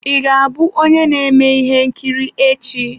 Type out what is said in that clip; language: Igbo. Ị ga-abụ onye na-eme ihe nkiri echi?